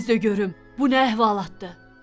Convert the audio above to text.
Tez də görüm bu nə əhvalatdır?